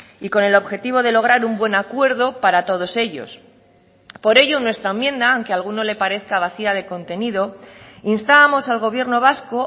y con el objetivo de lograr un buen acuerdo para todos ellos por ello en nuestra enmienda aunque a alguno le parezca vacía de contenido instábamos al gobierno vasco